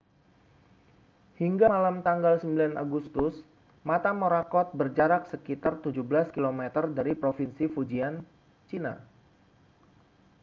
hingga malam tanggal 9 agustus mata morakot berjarak sekitar 17 kilometer dari provinsi fujian china